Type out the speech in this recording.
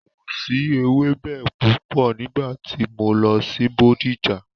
Kò si ewẹ́bẹ púpọ̀ nígbà tí mo lọ sí Bódìjà.